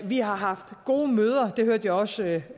vi har haft gode møder det hørte jeg også